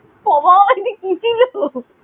সবার আগে কুঁচিয়ে নেবো।